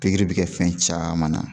Pikiri bɛ kɛ fɛn caman na.